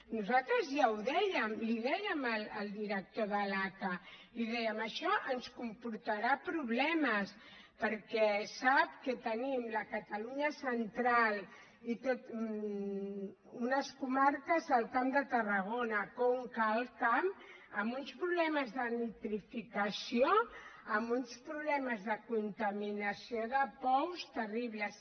nosaltres ja ho dèiem li dèiem al director de l’aca li dèiem això ens comportarà problemes perquè sap que tenim la catalunya central unes comarques al camp de tarragona conca alt camp amb uns problemes de nitrificació amb uns problemes de contaminació de pous terribles